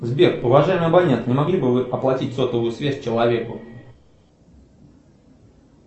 сбер уважаемый абонент не могли бы вы оплатить сотовую связь человеку